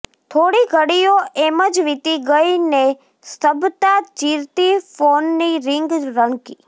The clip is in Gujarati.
થોડી ઘડીઓ એમ જ વીતી ગઈ ને સ્તબ્ધતા ચીરતી ફોનની રીંગ રણકી